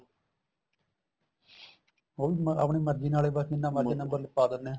ਉਹ ਵੀ ਆਪਣੀ ਮਰਜ਼ੀ ਨਾਲ ਜਿੰਨਾ ਮਰਜ਼ੀ number ਲਿੱਖਵਾ ਦਿੰਨੇ ਏ